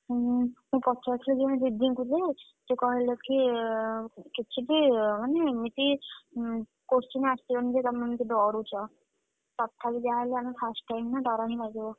ହୁଁ ମୁଁ ପଚାରୁଥିଲି ଜଣେ ଦିଦିଙ୍କୁ ଯେ, ସେ କହିଲେ କି କିଛି ବି ମାନେ ଏମିତି ଉଁ question ଆସିବନି ଯେ ତମେମାନେ ଏତେ ଡରୁଚ। ତଥାପି ଯାହା ହେଲେ ଆମେ first time ନା ଡ଼ର ହିଁ ଲାଗିବ।